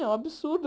É um absurdo.